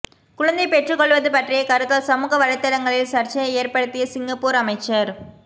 குழந்தை பெற்றுக்கொள்வது பற்றிய கருத்தால் சமூக வலைத்தளங்களில் சர்ச்சையை ஏற்படுத்திய சிங்கப்பூர் அமைச்சர்